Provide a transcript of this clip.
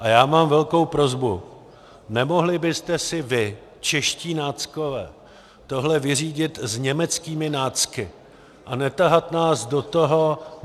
A já mám velkou prosbu: Nemohli byste si vy, čeští náckové, tohle vyřídit s německými nácky a netahat nás do toho?